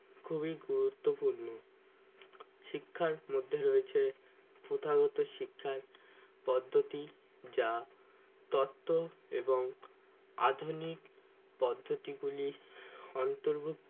খুবই গুরুত্বপূর্ণ শিক্ষার মধ্যে রয়েছে প্রধানত শিক্ষার পদ্ধতি যা তথ্য এবং আধুনিক পদ্ধতি গুলি অন্তর্ভুক্ত।